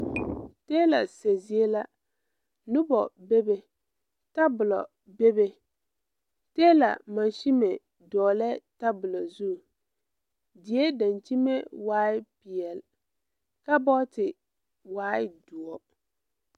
Tiila sɛ zie la nobɔ bebe tabolɔ bebe teela mansime dɔɔlɛɛ tabolɔ zu die daŋkyime waai peɛle kabɔɔte waai doɔ.